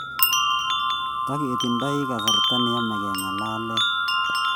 Tiketinye kasarta ne yemei kengalale